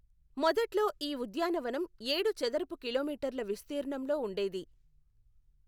మొదట్లో ఈ ఉద్యానవనం ఏడు చదరపు కిలోమీటర్ల విస్తీర్ణంలో ఉండేది.